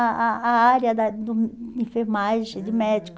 a a a área da de hum de enfermagem, de médico.